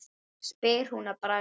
spyr hún að bragði.